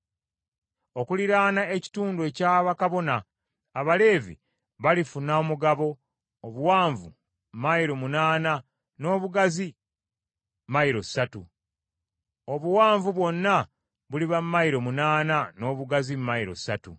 “Okuliraana ekitundu ekya bakabona, Abaleevi balifuna omugabo, obuwanvu mayilo munaana n’obugazi mayilo ssatu. Obuwanvu bwonna buliba mayilo munaana n’obugazi mayilo ssatu.